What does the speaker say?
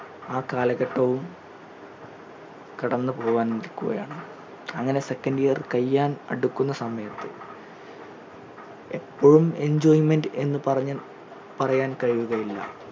ആ കലഘട്ടവും കടന്നു പോവാൻ നിൽക്കുകയാണ് അങ്ങനെ second year കഴിയാൻ അടുക്കുന്ന സമയത്തു എപ്പോഴും enjoyment എന്ന് പറഞ്ഞു പറയാൻ കഴിയുകയില്ല